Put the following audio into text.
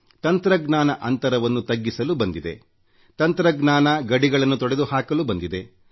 ತಂತ್ರಜ್ಞಾನ ಅಂತರವನ್ನು ತಗ್ಗಿಸಲು ಬಂದಿದೆ ತಂತ್ರಜ್ಞಾನ ಗಡಿಗಳನ್ನು ತೊಡೆದುಹಾಕಲು ಬಂದಿದೆ